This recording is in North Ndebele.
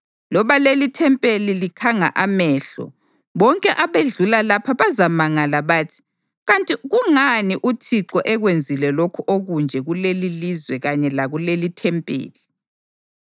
Loba lelithempeli likhanga amehlo, bonke abedlula lapha bazamangala bathi, ‘Kanti kungani uThixo ekwenzile lokhu okunje kulelilizwe kanye lakulelithempeli?’